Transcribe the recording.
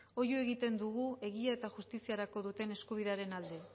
oihu egiten dugu egia eta justiziarako duten eskubidearen alde